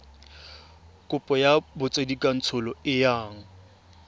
kopo ya botsadikatsholo e yang